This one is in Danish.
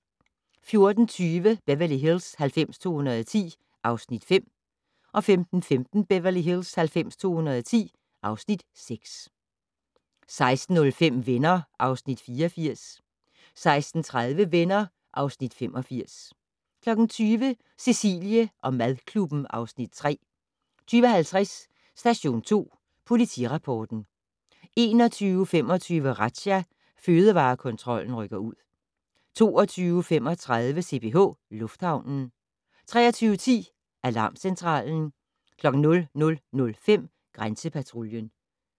14:20: Beverly Hills 90210 (Afs. 5) 15:15: Beverly Hills 90210 (Afs. 6) 16:05: Venner (Afs. 84) 16:30: Venner (Afs. 85) 20:00: Cecilie & madklubben (Afs. 3) 20:50: Station 2 Politirapporten 21:25: Razzia - Fødevarekontrollen rykker ud 22:35: CPH Lufthavnen 23:10: Alarmcentralen 00:05: Grænsepatruljen